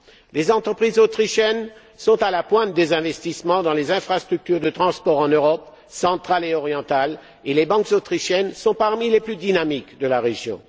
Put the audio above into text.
Les entreprises autrichiennes sont à la pointe des investissements dans les infrastructures de transport en Europe centrale et orientale, et les banques autrichiennes sont parmi les plus dynamiques de la région.